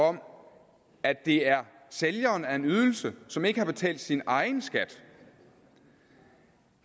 om at det er sælgeren af en ydelse som ikke har betalt sin egen skat